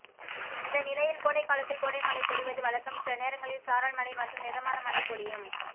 இந்த நிலையில் கோடைகாலத்தில் கோடை மழை பொழிவது வழக்கம் சில நேரங்களில் சாரல் மழை மற்றும் மிதமான மழை பொழியும்